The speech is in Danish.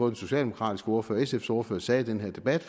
den socialdemokratiske ordfører og sfs ordfører sagde i den her debat